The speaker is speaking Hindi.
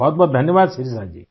बहुतबहुत धन्यवाद शिरिषा जी